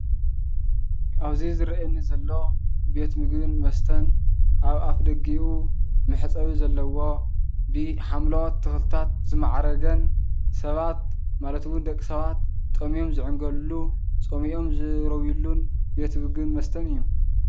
ኣብዚ ዝረኣየኒ ዘሎ ቤት ምግቢን መስተን ኣብ ኣፍደጊኡ መሕፀቢ ዘለዎ ብሓምለወት ተክልታት ዝምዓረገን ሰባት ማለት እውን ደቂ ሰባት ጠምዮም ዝዕንገልሉ ፀሚእዮም ዝረውይሉን ቤት ምግብን መስተን እዩ።